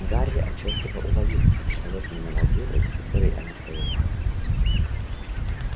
гарри отчётливо уловил как человек миновал дверь за которой они стояли